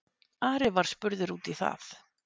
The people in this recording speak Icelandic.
Ari var spurður út í það.